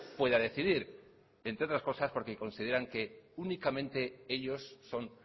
pueda decidir entre otras cosas porque consideran que únicamente ellos son